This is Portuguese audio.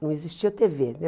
Não existia tê vê né.